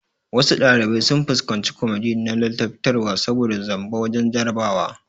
Wasu ɗalibai sun fuskanci kwamiti na ladabtarwa saboda zamba wajen jarabawa